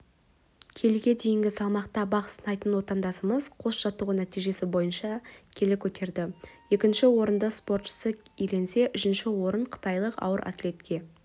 келіге дейінгі салмақта бақ сынайтын отандасымыз қос жаттығу нәтижесі бойынша келі көтерді екінші орынды спортшысы иеленсе үшінші орын қытайлық ауыр атлетке